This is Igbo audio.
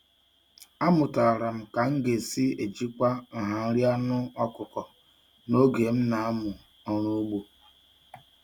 Amụtara m ka m si ejikwa nha nri anụ ọkụkọ n'oge m na-amụ ọrụ ugbo.